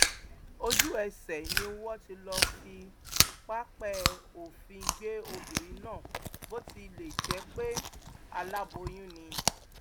ojúẹsẹ ni wọn ti lọọ fi pápẹ òfin gbé obìnrin náà bó tilẹ jẹ pé aláboyún ni